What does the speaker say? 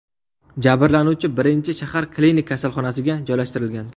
Jabrlanuvchi birinchi shahar klinik kasalxonasiga joylashtirilgan.